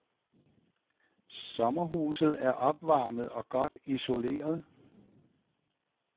Sommerhuset er opvarmet og godt isoleret.